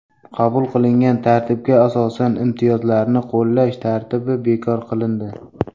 Qabul qilingan tartibga asosan imtiyozlarni qo‘llash tartibi bekor qilindi.